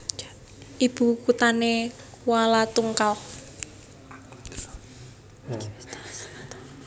Ibu kuthné Kualatungkal